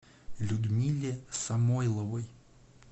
людмиле самойловой